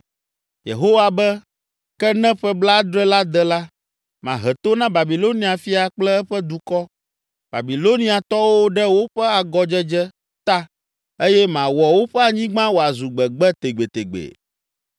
Yehowa be, “Ke ne ƒe blaadre la de la, mahe to na Babilonia fia kple eƒe dukɔ, Babiloniatɔwo ɖe woƒe agɔdzedze ta eye mawɔ woƒe anyigba wòazu gbegbe tegbetegbe.